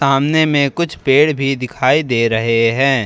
सामने में कुछ पेड़ भी दिखाई दे रहे हैं।